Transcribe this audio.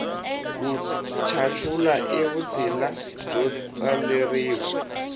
ku chachula i vutshila byo tswaleriwa